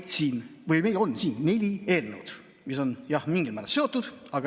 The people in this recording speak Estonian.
Meil on siin neli eelnõu, mis on mingil määral seotud.